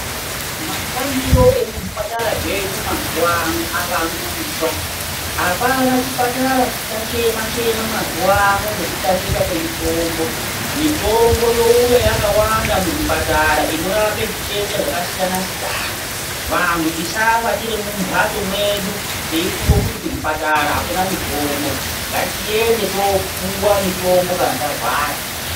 Mashandire emuzvipatara zvedu mazuwano avandudzwa. Hapana chipatara chichachema chema mazuwano ngekutamika kwemitombo. Mitombo youya yakawanda muzvipatara inorape zvitenda zvakasiyana-siyana. Vantu tisafa tiri mumbatso dzedu teifunga kuti kuzvipatara hakuna mitombo. Ngatiende topiwa mitombo kana tarwara.